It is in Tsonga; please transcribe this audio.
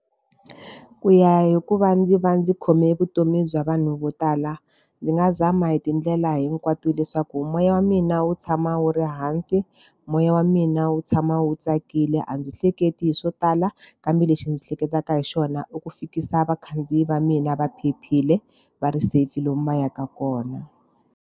Ku ya hi ku va ndzi va ndzi khome vutomi bya vanhu vo tala, ndzi nga zama hi tindlela hinkwato leswaku moya wa mina wu tshama wu ri hansi, moya wa mina wu tshama wu tsakile. A ndzi hleketi swo tala, kambe lexi ndzi hleketaka hi xona i ku fikisa vakhandziyi va mina va phephile, va ri safe lomu va yaka kona.